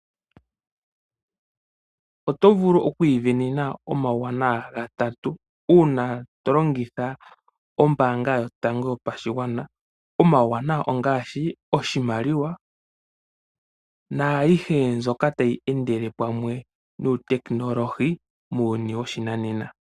Oto vulu oku isindanena omawuwanawa gatati uuna to longitha ombaanga yotango yopashigwana. Omawuwanawa ongaashi oshimaliwa naayihe mbyoka tali endelele pamwe nuutekinolohi muuyuni woshinanena.